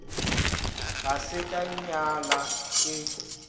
ga se ka nyala ke